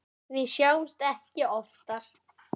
Við sjáumst ekki oftar.